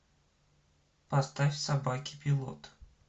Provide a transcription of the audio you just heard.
поставь собаки пилот